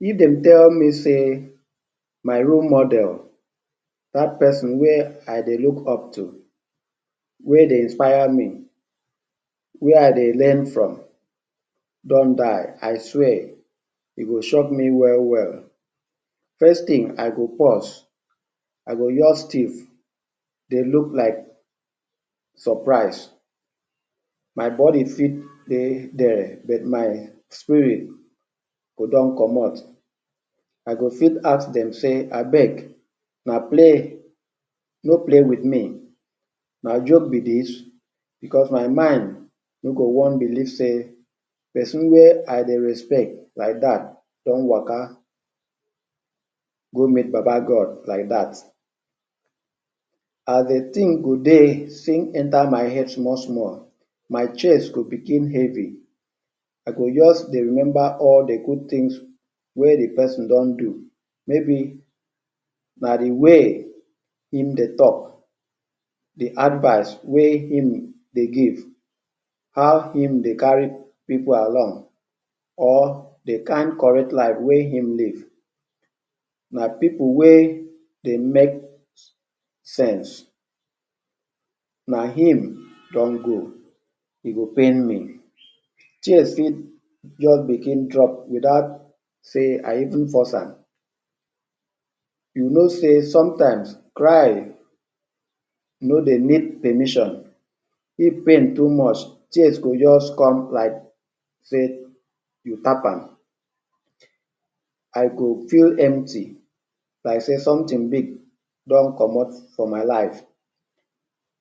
If dem tel me sey my role model, dat pesin wey I dey look up too, wey dey inspaya mi, wey I dey len from don die, I swear, e go shock me we-we. First tin, I go pause I go just stiv dey look like surprise, my body fit dey dia but my spirit go don comot. I go fit ask dem sey abeg na play, no play with me na joke be dis? because my mind no go wan belief sey ,pesin wey I dey respect like dat, don waka go meet baba god like dat and the tin go dey still enter my head small-small, my chest go bigin hevy, I go just dey remember all the good tins wey the pesin don do, mey be na the way im dey talk, the advice wey im dey give how im dey kari pipul around or the can correct life wey im live, na pipul wey dey make sense, na im don go, e dey pain me tears fit just bigin fall without se I even force am, you no sey sometimes cry no dey meet the mission if pain too much, tears go just come like sey you tap am. I go feel empty like sey somtin big don comot for my life,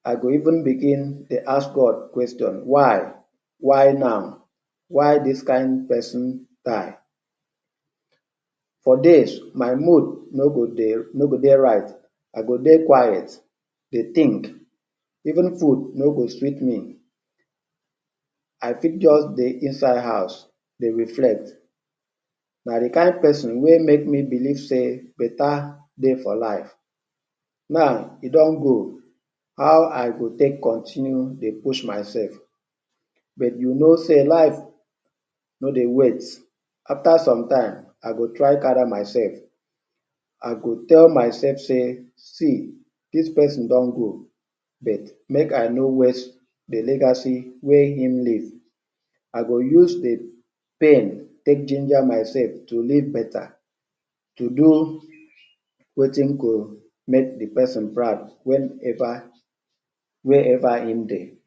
I go even bigin dey ask god question: why? Why now? Why dis kind pesin die? For days my mood no go dey right I go dey quite dey tink, even food no go sweet me, I fit just dey inside house dey reflect. Na the kind pesin wey make mi belief sey beta dey for life. Now, e don go, how I go take continue dey push myself but you no sey life no dey wait, after some time I go try kari myself, I go tell mysef sey see dis pesin don go but make I no waste the legacy wey im leave, I go use the pain take ginger myself to leave beta, to do wetin go make the pesin proud where ever im dey.